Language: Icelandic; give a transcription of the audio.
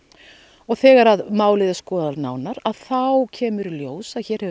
og þegar málið er skoðað nánar að þá kemur í ljós að hér hefur